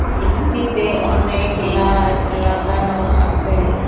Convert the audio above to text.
রুমটিতে অনেক লাইট লাগানো আসে।